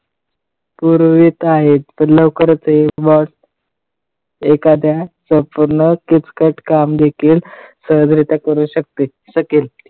पुरवीत आहे. लवकरच हे वाढ एखाद्या software पुन्हा किचकट काम देखील सहजरीत्या करू शक शकेल.